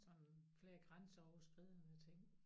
Sådan flere grænseoverskridende ting